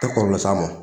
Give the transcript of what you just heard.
Tɛ kɔlɔlɔ s'a ma